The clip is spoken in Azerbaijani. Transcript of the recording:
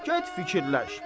Xub, get fikirləş.